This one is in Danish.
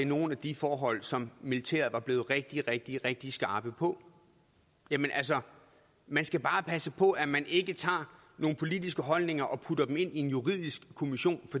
nogle af de forhold som militæret var blevet rigtig rigtig rigtig skarpe på altså man skal bare passe på at man ikke tager nogle politiske holdninger og putter dem ind i en juridisk kommission